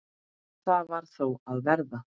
Það varð þó að verða.